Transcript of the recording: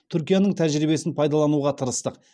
түркияның тәжірибесін пайдалануға тырыстық